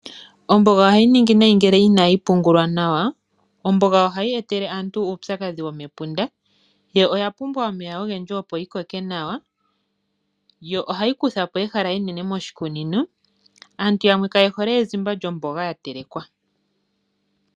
Omboga ohayi ningi nayi ngele jnayi pungulwa nawa. Omboga ohayi etele aantu uupyakadhi womepunda. Yo oya pumbwa omeya ogendji opo yikoke nawa. Yo ohayi kutha po wo ehala enene moshikunino. Aantu yamwe kaye hole ezimba lyomboga yatelekwa.